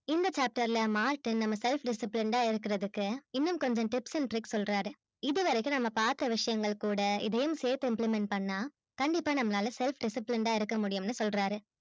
இந்த chapter ல martin நம்ம self disciplined ஆ இருக்குறதுக்கு இன்னும் கொஞ்சம் tips and tricks சொல்றாரு இது வரைக்கும் நம்ம பார்த்த விஷயங்கள் கூட இதையும் சேர்த்து implement பண்ணா கண்டிப்பா நம்மலால self disciplined ஆ இருக்க முடியும் னு சொல்றாரு